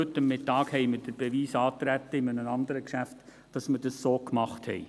Gerade heute haben wir in einem anderen Geschäft den Beweis angetreten, dass wir es so machen.